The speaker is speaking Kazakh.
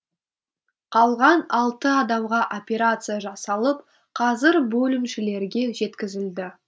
қалған алты адамға операция жасалып қазір бөлімшелерге жеткізілді